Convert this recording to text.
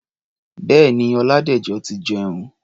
Bẹ́ẹ̀ni, Ọládẹ̀jọ ti jẹun.